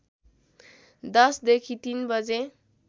१० देखि ३ बजे